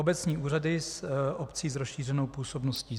Obecní úřady obcí s rozšířenou působností: